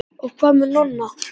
Og hvað með Nonna?